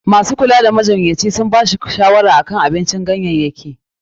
Masu kula da majinyaci sun ba shi shawara akan ya kara cin abincin ganyayyaki.